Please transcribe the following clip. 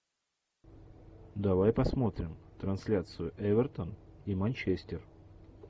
давай посмотрим трансляцию эвертон и манчестер